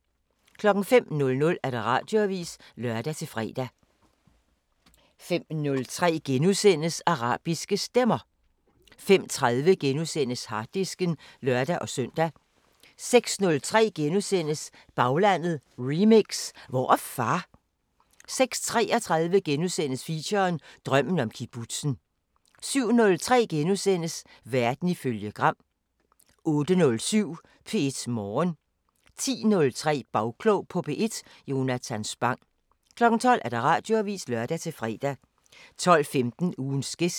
05:00: Radioavisen (lør-fre) 05:03: Arabiske Stemmer * 05:30: Harddisken *(lør-søn) 06:03: Baglandet Remix: Hvor er far? * 06:33: Feature: Drømmen om kibbutzen * 07:03: Verden ifølge Gram * 08:07: P1 Morgen 10:03: Bagklog på P1: Jonathan Spang 12:00: Radioavisen (lør-fre) 12:15: Ugens gæst